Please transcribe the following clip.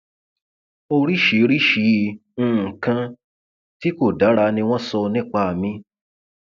oríṣiríṣiì nǹkan tí kò dára ni wọn sọ nípa mi